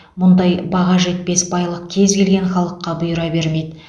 мұндай баға жетпес байлық кез келген халыққа бұйыра бермейді